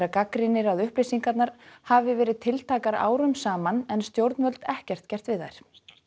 gagnrýnir að upplýsingarnar hafi verið tiltækar árum saman en stjórnvöld ekkert gert við þær